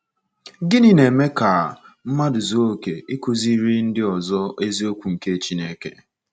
Gịnị na-eme ka mmadụ zuo oke ịkụziri ndị ọzọ eziokwu nke Chineke?